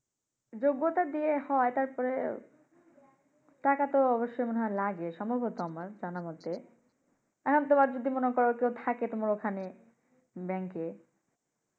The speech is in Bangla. যোগ্যতা দিয়ে হয় তারপরে টাকাত অব্যশই মনে হয় লাগে সম্ভবত আমার জানা মতে। এখন তোমার যদি মনে কর কেউ থাকে তোমার ওখানে ব্যাংকে